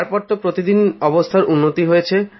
তারপর তো প্রতিদিন অবস্থার উন্নতি হয়েছে